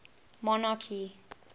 monarchy